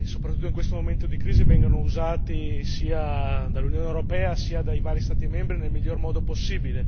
soprattutto in questo momento di crisi, vengano usati sia dall'Unione europea sia dai vari Stati membri nel miglior modo possibile.